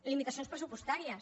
limitacions pressupostàries